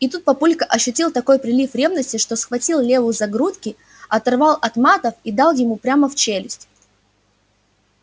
и тут папулька ощутил такой прилив ревности что схватил леву за грудки оторвал от матов и дал ему прямо в челюсть